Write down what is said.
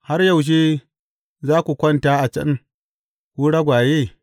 Har yaushe za ku kwanta a can, ku ragwaye?